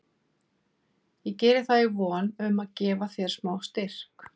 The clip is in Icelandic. Ég geri það í von um að gefa þér smá styrk.